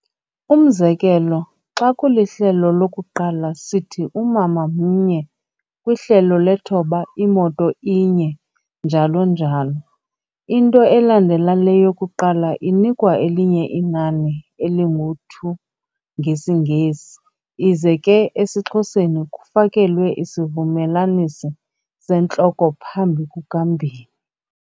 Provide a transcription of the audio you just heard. Umzekelo, xa kulihlelo lokuqala sithi umama mnye, kwihlelo lethoba imoto inye, njalo njalo. Into elandela le yokuqala inikwa elinye inani elingu'two' ngesiNgesi, ize ke esiXhoseni kufakelwe isivumelanisi sentloko phambi kuka-mbini.